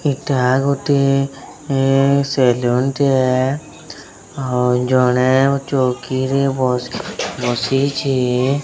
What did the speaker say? ଏଟା ଗୋଟିଏ ଏ ସେଲୁନ ଟେ ଜଣେ ଚୌକି ରେ ବସିଚି।